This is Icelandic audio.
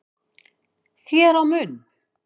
þér á munn